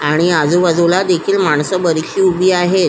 आणि आजुबाजुला देखील माणसं बरिचशी उभी आहेत.